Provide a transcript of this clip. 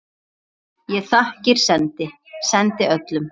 Ég þakkir sendi, sendi öllum.